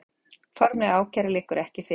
Formleg ákæra liggur ekki fyrir